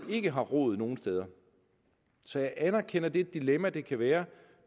ikke har rod nogen steder så jeg anerkender det dilemma det kan være